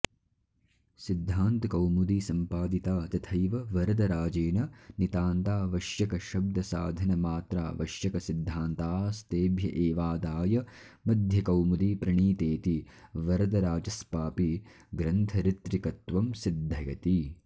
सिद्धान्तकौमुदी सम्पादिता तथैव वरदराजेन नितान्तावश्यकशब्दसाधनमात्रावश्यकसिद्धान्तास्तेभ्य एवादाय मध्यकौमुदी प्रणीतेति वरदराजस्पापि ग्रन्थऋतृकत्वं सिद्धयति